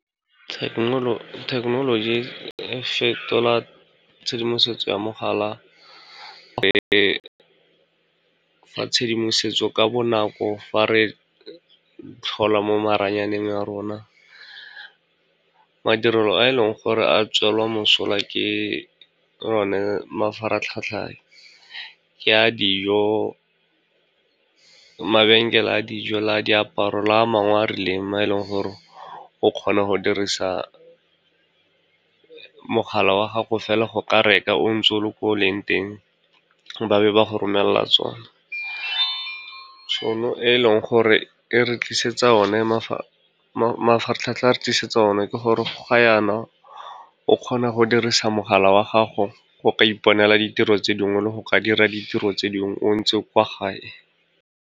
Thekenoloji e fetola tshedimosetso ya mogala, e fa tshedimosetso ka bonako fa re tlhola mo maranyaneng a rona. Madirelo a e leng gore a tswelwa mosola ke one mafaratlhatlha ke a dijo, mabenkele a dijo, la diaparo le a mangwe a rileng, ma e leng gore o kgone go dirisa mogala wa gago fela go ka reka o ntse o le ko o leng teng, ba be ba go romella tsona. e leng gore e re tlisetsa o ne mafaratlhatlha a re tlisetsa o na, ke gore ga jaana o kgona go dirisa mogala wa gago go ka iponela ditiro tse dingwe le go ka dira ditiro tse dingwe o ntse kwa gae.